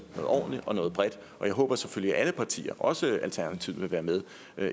noget ordentligt og noget bredt og jeg håber selvfølgelig at alle partier også alternativet vil være med